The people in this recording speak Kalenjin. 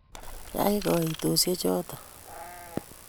Yai kaitosiechoto !